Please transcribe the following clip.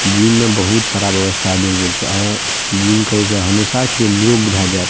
gym में बहुत सारा व्यवस्था देल गेल छै आहां जिम करे से हमेशा के लिए निरोग भए जेएब --